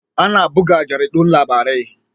Ana buga jaridun labarai